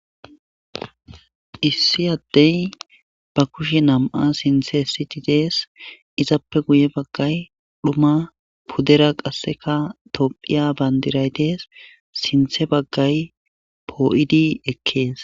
issi addey ba kushe nam7a sinthe siti dees izappe guye baggay dhuma pudera qasseka tophiya bandiray dees sinthe baggay poo7idi ekkees